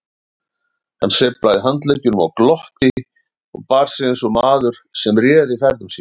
Hann sveiflaði handleggjunum og glotti og bar sig eins og maður sem réði ferðum sínum.